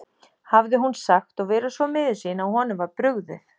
hafði hún sagt og verið svo miður sín að honum var brugðið.